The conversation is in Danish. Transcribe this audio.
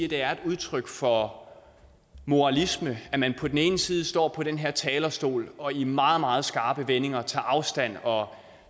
det er udtryk for moralisme at man på den ene side står på den her talerstol og i meget meget skarpe vendinger tager afstand og